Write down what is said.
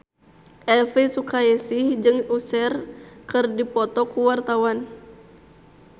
Elvi Sukaesih jeung Usher keur dipoto ku wartawan